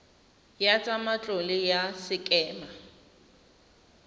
ya tsa matlole ya sekema